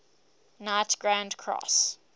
knight grand cross